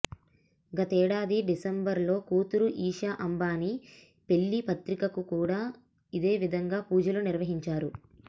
గతేడాది డిసెంబర్ లో కూతురు ఇషా అంబానీ పెళ్లి పత్రికకు కూడా ఇదేవిధంగా పూజలు నిర్వహించారు